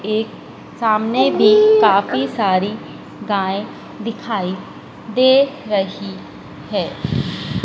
एक सामने भी काफी सारी गाय दिखाई दे रही है।